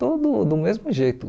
Tudo do mesmo jeito.